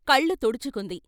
కళ్ళు తుడుచుకుంది.